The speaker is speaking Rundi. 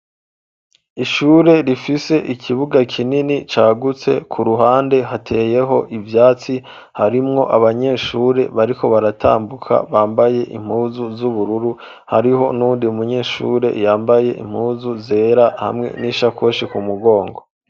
Ishure rifise ikibuga kinini cagutse ku ruhande hateyeho ivyatsi harimwo abanyeshure bariko baratambuka bambaye impuzu z'ubururu hariho nuwundi munyeshure yambaye impuzu zera hamwe n'ishakoshi ku mugongo.